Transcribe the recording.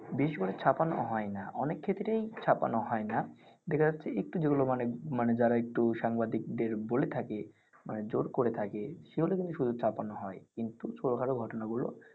বিশেষ করে ছাপ্পানো হয়না। অনেক ক্ষেত্রেই ছাপ্পানো হয় না. দেখা যাচ্ছে একটু যেগুলো মানে~মানে যারা একটু সাংবাদিকদের বলে থাকে মানে জোর করে থাকে সেগুলোই কিন্তু শুধু ছাপ্পানো হয়না। কিন্তু ছোট খাটো ঘটনাগুলো।